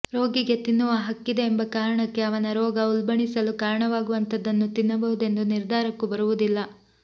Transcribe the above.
ರೋಗಿಗೆ ತಿನ್ನುವ ಹಕ್ಕಿದೆ ಎಂಬ ಕಾರಣಕ್ಕೆ ಅವನ ರೋಗ ಉಲ್ಬಣಿಸಲು ಕಾರಣವಾಗುವಂಥದ್ದನ್ನು ತಿನ್ನಬಹುದೆಂಬ ನಿರ್ಧಾರಕ್ಕೂ ಬರುವುದಿಲ್ಲ